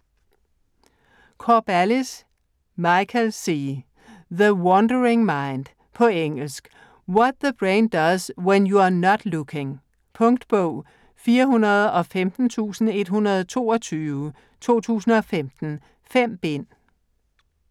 Corballis, Michael C.: The wandering mind På engelsk. What the brain does when you're not looking. Punktbog 415122 2015. 5 bind.